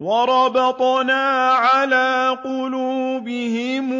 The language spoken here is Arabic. وَرَبَطْنَا عَلَىٰ قُلُوبِهِمْ